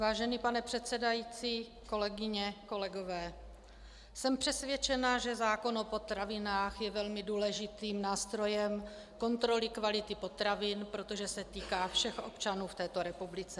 Vážený pane předsedající, kolegyně, kolegové, jsem přesvědčená, že zákon o potravinách je velmi důležitým nástrojem kontroly kvality potravin, protože se týká všech občanů v této republice.